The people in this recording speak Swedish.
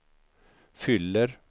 fyller